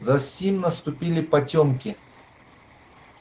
засим наступили потёмки